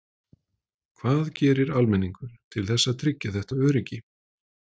Hvað gerir almenningur til þess að tryggja þetta öryggi?